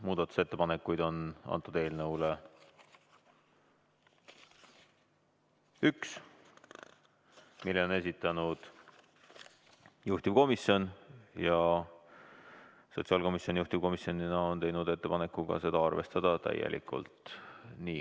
Muudatusettepanekuid on selle eelnõu kohta üks, selle on esitanud juhtivkomisjon ja sotsiaalkomisjon juhtivkomisjonina on teinud ettepaneku seda arvestada täielikult.